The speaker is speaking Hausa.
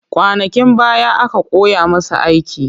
Kwanakin baya aka koya masa aiki